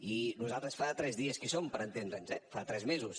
i nosaltres fa tres dies que hi som per entendre’ns eh fa tres mesos